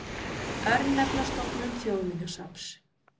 Örnefnastofnun Þjóðminjasafns.